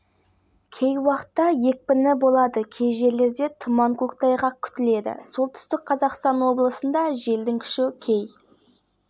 жетеді қостанай облысында жел күшейеді кей жерлерде тұман көктайғақ болады ақмола облысының кей жерлерінде желдің